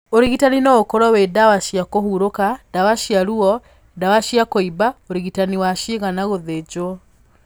Ũrigitanĩ no ũkorwo wĩ ndawa cia kũhurũka, ndawa cia ruo, ndawa cia kũimba, ũrigitani wa ciĩga na gũthĩnjwo